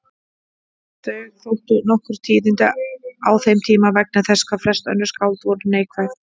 Þau þóttu nokkur tíðindi á þeim tíma vegna þess hvað flest önnur skáld voru neikvæð.